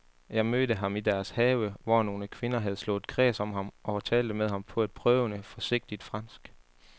Jeg mødte ham i deres have, hvor nogle kvinder havde slået kreds om ham og talte med ham på et prøvende, forsigtigt fransk.